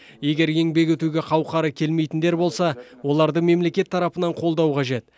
егер еңбек етуге қауқары келмейтіндер болса оларды мемлекет тарапынан қолдау қажет